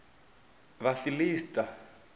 vhafiḽisita